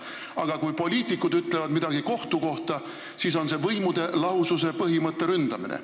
Aga kui poliitikud ütlevad midagi kohtu kohta, siis on see võimude lahususe põhimõtte ründamine.